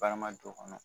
Barama don o kɔnɔ